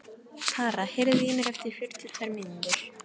Tara, heyrðu í mér eftir fjörutíu og tvær mínútur.